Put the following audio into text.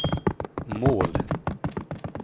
mål